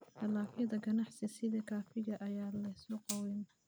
Dalagyada ganacsiga sida kafeega ayaa leh suuq weyn.